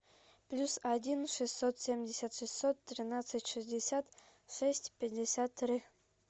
плюс один шестьсот семьдесят шестьсот тринадцать шестьдесят шесть пятьдесят три